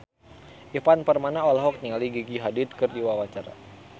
Ivan Permana olohok ningali Gigi Hadid keur diwawancara